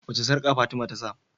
wace sarƙa fatima tasa?